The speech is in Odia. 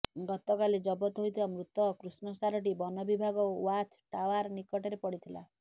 ଗତକାଲି ଜବତ ହୋଇଥିବା ମୃତ କୃଷ୍ଣସାରଟି ବନ ବିଭାଗ ଓ୍ବାଚ ଟାଓ୍ବାର ନିକଟରେ ପଡ଼ିଥିଲା